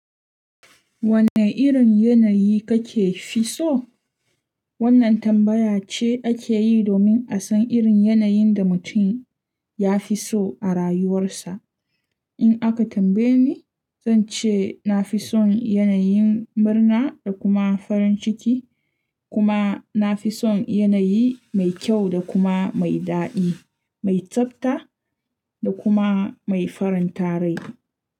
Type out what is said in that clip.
Wanne irin yanayi kake fi so? Wannan tambaya ce ake yi domin a san irin yanayin da mutum ya fi so a rayuwarsa. In aka tambaye ni, zan ce na fi son yanayin murna da kuma farin ciki, kuma na fi son yanayi mai kyau da kuma mai daɗi, mai tsabta da kuma mai farin tarai.